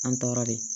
An tɔɔrɔlen